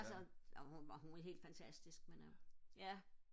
altså ja hun var helt fantastisk men øh ja